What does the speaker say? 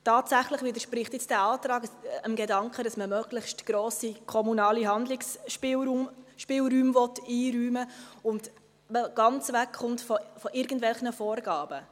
Tatsächlich widerspricht dieser Antrag dem Gedanken, dass man möglichst grosse kommunale Handlungsspielräume einräumen will und man ganz wegkommt von irgendwelchen Vorgaben.